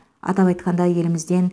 атап айтқанда елімізден